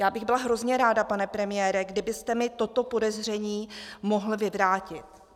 Já bych byla hrozně ráda, pane premiére, kdybyste mi toto podezření mohl vyvrátit.